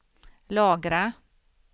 lagra